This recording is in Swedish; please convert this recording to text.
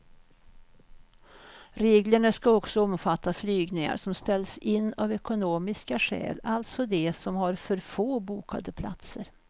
Reglerna ska också omfatta flygningar som ställs in av ekonomiska skäl, alltså de som har för få bokade platser.